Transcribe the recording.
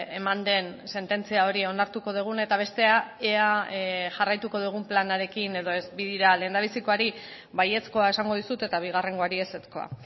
eman den sententzia hori onartuko dugun eta bestea ea jarraituko dugun planarekin edo ez bi dira lehendabizikoari baiezkoa esango dizut eta bigarrengoari ezezkoa